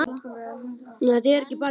Svenni lyftist allur við hrósið.